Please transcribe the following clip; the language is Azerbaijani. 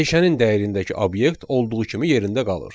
Dəyişənin dəyərindəki obyekt olduğu kimi yerində qalır.